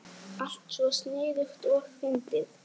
Alltaf svo sniðug og fyndin.